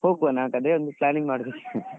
ಹೋಗುವನಾ ಹಾಗಾದ್ರೆ ಒಂದು planning ಮಾಡುದು .